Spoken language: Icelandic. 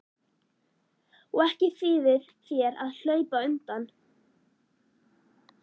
Og ekki þýðir þér að hlaupa undan.